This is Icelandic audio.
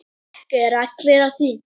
Ekki eru allir á því.